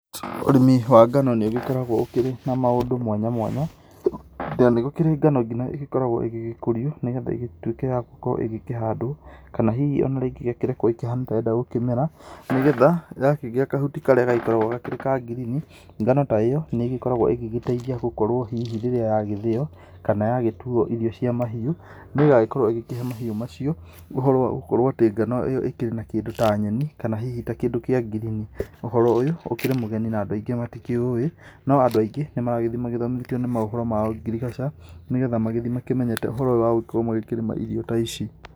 Ũrĩmi wa ngano nĩũgĩkoragwo ũkĩrĩ na maũndũ mwanya mwanya, na nĩgũkĩrĩ ngano nginya ĩgĩkoragwo ĩgĩkũrio nĩgetha ĩgĩgĩtuĩkĩ ĩkorwe ĩkĩhandwo, kana hihi ĩgakĩrekwo ĩkĩhane gũkĩmera, nĩgetha yakĩgĩa kahuti karĩa kagĩkoragwo kangirini, ngano ta ĩyo nĩkoragwo ĩgĩteithia gũkorwo hihi hĩndĩ ĩrĩa yagĩthĩo kana yagĩtuo irio cia mahiũ, rĩrĩa yagĩkorwo ĩkĩheo mahiũ macio ũhũro wagũkorwo ngano ĩyo ĩkĩrĩ na kĩndũ ta nyeni kana hihi kĩndũ ta kĩa ngirini, ũhoro ũyũ ũkĩrĩ mũgeni andũ maingĩ matikĩũĩ no andũ maingĩ nĩmarathii mathomete maũndũ ma ngirigaca nĩgetha mathii makĩmenyete ũhoro wa gũtuĩka makĩrĩma ta ici.